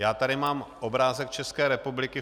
Já tady mám obrázek České republiky.